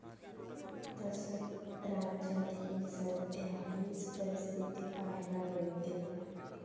तसंच, राज्यात ही सध्या हीच परिस्थिती पाहायला मिळते.